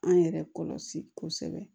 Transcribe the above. An yɛrɛ kɔlɔsi kosɛbɛ